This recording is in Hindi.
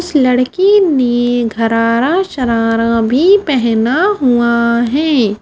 इस लड़की ने घरारा शरारा भी पहना हुआ है ।